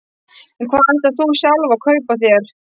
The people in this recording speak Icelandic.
En hvað ætlar þú sjálf að kaupa þér?